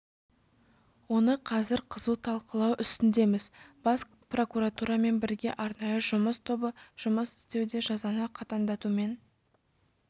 оны қазір қызу талқылау үстіндеміз бас прокуратурамен бірге арнайы жұмыс тобы жұмыс істеуде жазаны қатаңдатумен